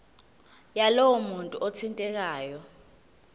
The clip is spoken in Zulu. yalowo muntu othintekayo